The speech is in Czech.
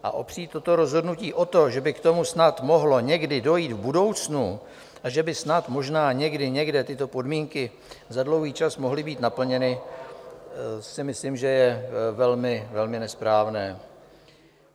A opřít toto rozhodnutí o to, že by k tomu snad mohlo někdy dojít v budoucnu a že by snad možná někdy někde tyto podmínky za dlouhý čas mohly být naplněny, si myslím, že je velmi nesprávné.